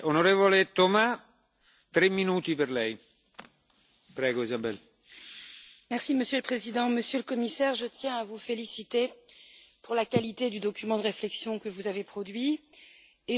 Monsieur le Président, Monsieur le Commissaire, je tiens à vous féliciter pour la qualité du document de réflexion que vous avez produit et je veux saluer votre volonté de mettre en place un dialogue sérieux, franc et ouvert avec le Parlement.